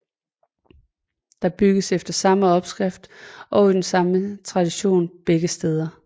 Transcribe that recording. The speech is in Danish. Der brygges efter samme opskrifter og i den samme tradition begge steder